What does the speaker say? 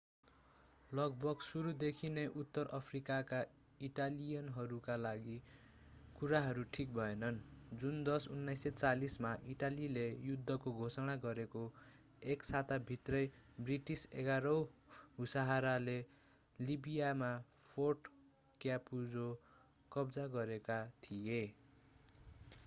लगभग सुरुदेखि नै उत्तर अफ्रिकाका इटालियनहरूका लागि कुराहरू ठीक भएनन् जुन 10 1940 मा इटालीले युद्धको घोषणा गरेको एक साताभित्रै ब्रिटिस 11 औँ हुसारले लिबियामा फोर्ट क्यापुजो कब्जा गरेका थिए